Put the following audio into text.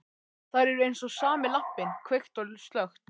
Þær eru eins og sami lampinn, kveikt og slökkt.